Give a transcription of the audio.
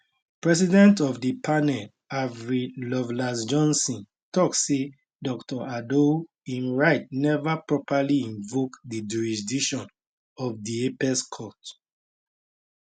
president of di panel avril lovelacejohnson tok say dr odoi im writ neva properly invoke di jurisdiction of di apex court